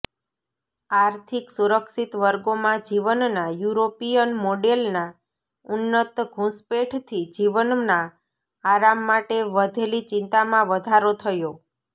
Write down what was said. આર્થિક સુરક્ષિત વર્ગોમાં જીવનના યુરોપીયન મોડેલના ઉન્નત ઘૂંસપેંઠથી જીવનના આરામ માટે વધેલી ચિંતામાં વધારો થયો